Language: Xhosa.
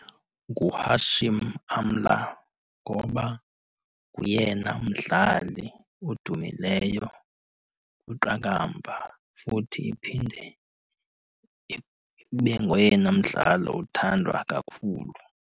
NguHashim Amla ngoba nguyena umdlali odumileyo kwiqakamba futhi iphinde ibe ngoyena mdlali othandwa kakhulu